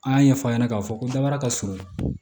An y'a ɲɛfɔ a ɲɛna k'a fɔ ko dabara ka surun